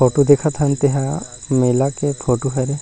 Photo देखत हन तेन ह मेला के फोटो हरे।